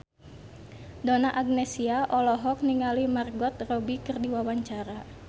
Donna Agnesia olohok ningali Margot Robbie keur diwawancara